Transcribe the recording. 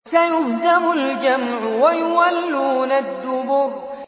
سَيُهْزَمُ الْجَمْعُ وَيُوَلُّونَ الدُّبُرَ